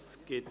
Es gibt …